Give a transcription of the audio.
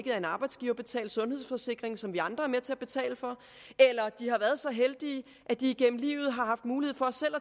er en arbejdsgiverbetalt sundhedsforsikring som vi andre er med til at betale for eller de har været så heldige at de igennem livet har haft mulighed for selv